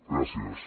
gràcies